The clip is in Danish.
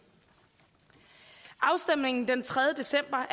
afstemningen den tredje december